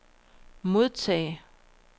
modtag